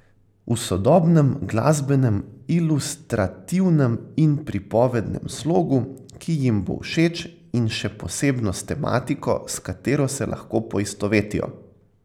V sodobnem glasbenem, ilustrativnem in pripovednem slogu, ki jim bo všeč, in še posebno s tematiko, s katero se lahko poistovetijo.